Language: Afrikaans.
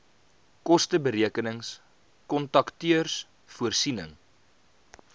kosteberekenings kontakteurs voorsiening